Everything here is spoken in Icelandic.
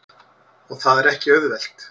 Og það er ekki auðvelt.